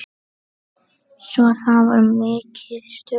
Svo það var mikið stuð.